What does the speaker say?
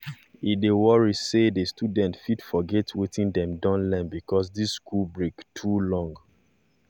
e dey worry say the students fit forget wetin dem don learn because this school break too long